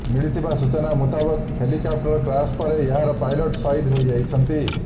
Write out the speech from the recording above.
ମିଳିଥିବା ସୂଚନା ମୁତାବକ ହେଲିକ୍ୟାପ୍ଟର କ୍ରାସ ପରେ ଏହାର ପାଇଲଟ ସହିଦ ହୋଇଯାଇଛନ୍ତି